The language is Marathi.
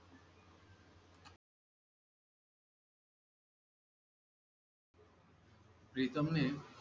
प्रीतम ने